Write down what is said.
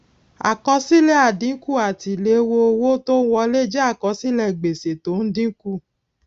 àkọsílè àdínkù àti ìléwó owó tó n wọlé jé àkọsílè gbèsè tó n dínkù